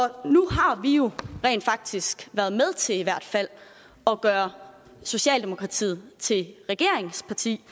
nu har vi jo rent faktisk været med til i hvert fald at gøre socialdemokratiet til et regeringsparti